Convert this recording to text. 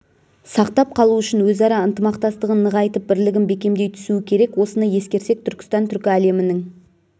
сақтап қалу үшін өзара ынтымақтастығын нығайтып бірлігін бекемдей түсуі керек осыны ескерсек түркістан түркі әлемінің